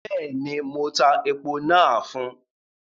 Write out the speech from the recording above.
Bẹ́ẹ̀ni, mo tá èpo nàá fún